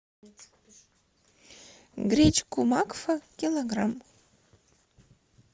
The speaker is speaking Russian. гречку макфа килограмм